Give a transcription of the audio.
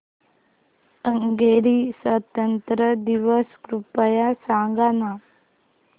Hungary स्वातंत्र्य दिवस कृपया सांग ना